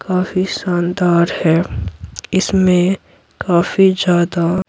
काफी शानदार है इसमें काफी ज्यादा --